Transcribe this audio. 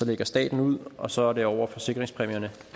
lægger staten ud og så er det over forsikringspræmierne